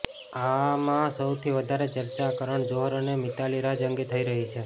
આમાં સૌથી વધારે ચર્ચા કરણ જોહર અને મિતાલી રાજ અંગે થઇ રહી છે